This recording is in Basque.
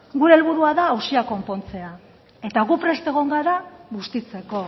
gure helburua da auzia konpontzea eta gu prest egon gara bustitzeko